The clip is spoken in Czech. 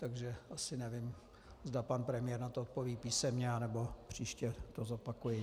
Takže asi nevím, zda pan premiér na to odpoví písemně, anebo příště to zopakuji.